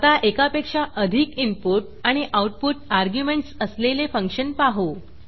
आता एकापेक्षा अधिक इनपुट आणि आऊटपुट अर्ग्युमेंटस असलेले फंक्शन पाहू